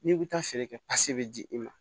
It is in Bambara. N'i bɛ taa feere kɛ pasi bɛ di i ma